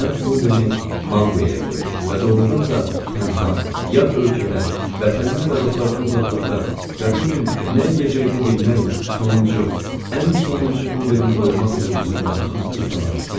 Mən quldəni manqoya qoydum və doğurdan da tənha, yad ölkədə, vətəndən və dostlardan uzaqlarda və bu gün nə yeyəcəyini bilmək, sonuncu, ən sonuncu quldəni qoymaq duyğusunda xüsusi nə isə var.